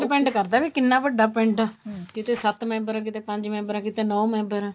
depend ਕਰਦਾ ਵੀ ਕਿੰਨਾ ਵੱਡਾ ਪਿੰਡ ਕਿਤੇ ਸੱਤ member ਆ ਕਿਤੇ ਪੰਜ member ਆ ਕਿਤੇ ਨੋ member ਆ